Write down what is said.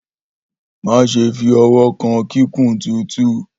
Maṣe fi ọwọ kan kikun tutu!